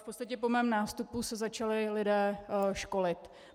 V podstatě po mém nástupu se začali lidé školit.